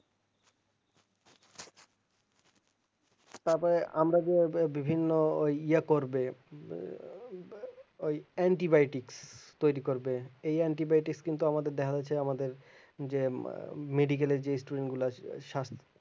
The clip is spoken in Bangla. তারপর আমরা যে বিভিন্ন ওই ইয়ে করবে ওই antibiotic তৌরি করবে এই antibiotic কিন্তু আমাদের দেখা রয়েছে আমাদের যে medical এর যে student গুলা আছে সাস